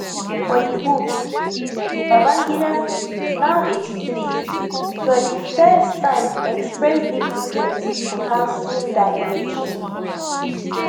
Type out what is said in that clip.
for di book babangida now 83 for di first time express deep regret for cancelling dat election